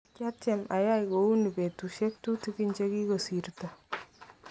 kiatem ayai kouu noe betusiek tutikin chekikusirto.